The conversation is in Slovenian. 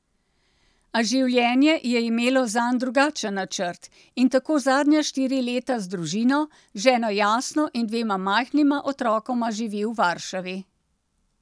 A življenje je imelo zanj drugačen načrt, in tako zadnja štiri leta z družino, ženo Jasno in dvema majhnima otrokoma živi v Varšavi.